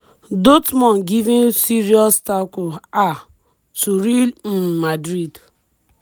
dortmund giving serious tackle um to real um madrid.